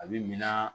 A bi mina